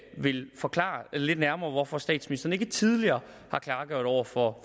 ville forklare lidt nærmere hvorfor statsministeren ikke tidligere har klargjort over for